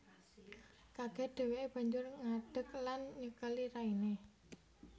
Kaget dheweke banjur ngadek lan nyekeli raine